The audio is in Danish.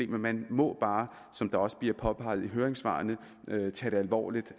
men man må bare som der også bliver påpeget i høringssvarene tage det alvorligt